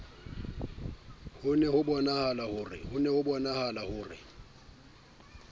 ho ne hobonahala ho re